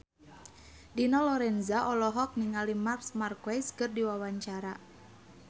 Dina Lorenza olohok ningali Marc Marquez keur diwawancara